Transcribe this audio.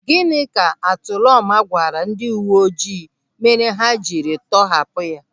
Gịnị ka Atụlọma gwara ndị uwe ojii mere ha jiri tọhapụ ya?